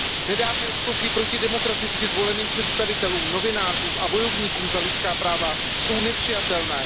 Nedávné útoky proti demokraticky zvoleným představitelům, novinářům a bojovníkům za lidská práva jsou nepřijatelné.